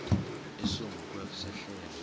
esingu kwa sehlelo